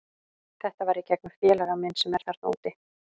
Þetta var í gegnum félaga minn sem er þarna úti.